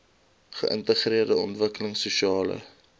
geïntegreerde ontwikkelings sosiale